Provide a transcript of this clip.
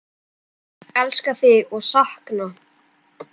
Elska þig og sakna.